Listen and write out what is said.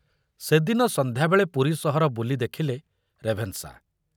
ସେଦିନ ସନ୍ଧ୍ୟାବେଳେ ପୁରୀ ସହର ବୁଲି ଦେଖିଲେ ରେଭେନ୍‌ଶା।